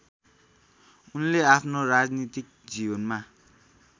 उनले आफ्नो राजनीतिक जीवनमा